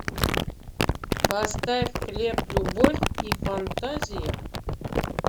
поставь хлеб любовь и фантазия